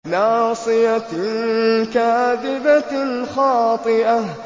نَاصِيَةٍ كَاذِبَةٍ خَاطِئَةٍ